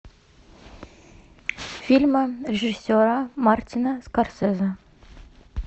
фильмы режиссера мартина скорсезе